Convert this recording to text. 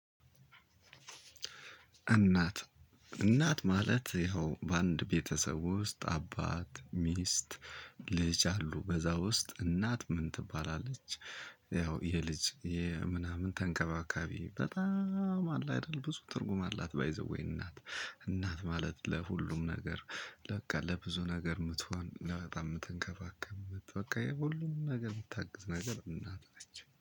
እናት እናት ማለት ይኸው በአንድ ቤተሰብ ውስጥ አባት፣ ሚስት፣ ልጅ አሉ። በዛ ውስጥ እናት ምን ትባላለች? ያው የልጅ የምናምን ተንከባካቢ በጣም አለ አይደል ብዙ ትርጉም አላት። ባይ ዘ ዌይ እናት እናት ማለት ለሁሉም ነገር በቃ ለብዙ ነገር የምትሆን በጣም የምትንከባከከ በቃ የሁሉም ነገር የምታግዝ ነገር እናት ነች።